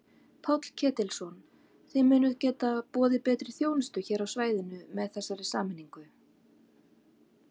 Páll Ketilsson: Þið munið geta boðið betri þjónustu hér á svæðinu með þessari sameiningu?